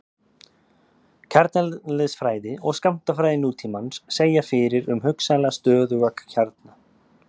kjarneðlisfræði og skammtafræði nútímans segja fyrir um hugsanlega stöðuga kjarna